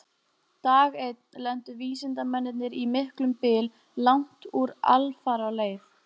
Dag einn lentu vísindamennirnir í miklum byl langt úr alfaraleið.